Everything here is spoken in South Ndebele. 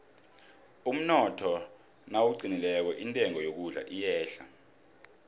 umnotho nawuqinileko intengo yokudla iyehla